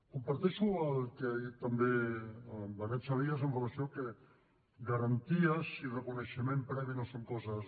comparteixo el que ha dit també el benet salellas amb relació a que garanties i reconeixement previ no són coses